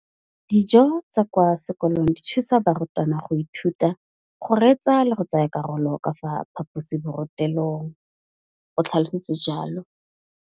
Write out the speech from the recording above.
Dijo tsa kwa sekolong dithusa barutwana go ithuta, go reetsa le go tsaya karolo ka fa phaposiborutelong, o tlhalositse jalo.